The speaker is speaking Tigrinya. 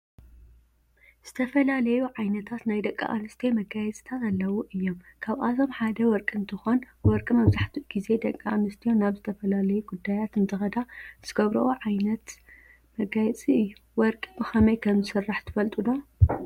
ዝተፈላለዩ ዓይነታት ናይ ደቂ አንስትዮ መጋየፅታት አለዉ እዩም ካብአቶም ሓደ ወርቂ እንትኮን ወርቂ መብዛሕቲኡ ግዜ ድቂ አንስትዩ ናብ ዝተፈላለዩ ጉዳያት እንትከዳ ዝገብሮኦ ዓይነት መጋየፂ እዩ። ወርቂ ብከመይ ከም ዝስራሕ ትፈልጡ ዶ?